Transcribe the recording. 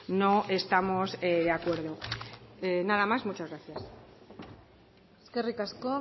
no estamos de acuerdo nada más muchas gracias eskerrik asko